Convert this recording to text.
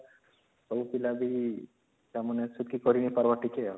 ସବୁ ପିଲା ବି ତାମାନେ ସେତକୀ କରି ନାଇଁ ପାରିବା ଟିକେ